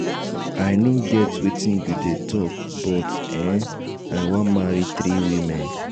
i no get wetin you dey talk but um i wan marry three women